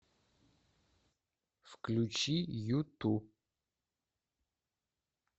включи юту